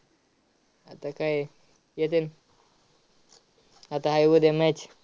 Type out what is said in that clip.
आता काय येतील आता आहे उद्या match